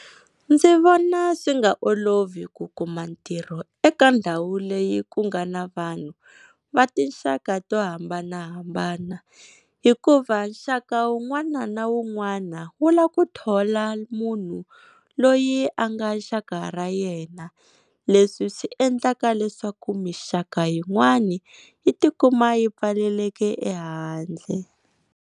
Ndzi vona swi nga olovi ku kuma ntirho eka ndhawu leyi ku nga na vanhu va tinxaka to hambanahambana, hikuva nxaka wun'wana na wun'wana wu lava ku thola munhu loyi a nga xaka ra yena, leswi swi endlaka leswaku minxaka yin'wani yi tikuma yi pfalelekile ehandle.